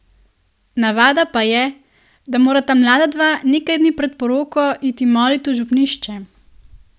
Navada pa je, da morata mlada dva nekaj dni pred poroko iti molit v župnišče.